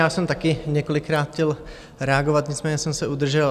Já jsem taky několikrát chtěl reagovat, nicméně jsem se udržel.